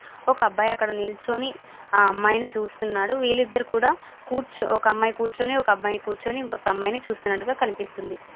ఒక అబ్బాయి అక్కడ నిల్చుని ఆ అమ్మాయిని చూస్తున్నాడు. వీళ్ళిద్దరూ కూడా ఒక అమ్మాయి కూర్చుని ఒక అబ్బాయి కూర్చుని ఒక్కొక్క అమ్మాయిని చూస్తున్నట్టుగా కనిపిస్తుంది.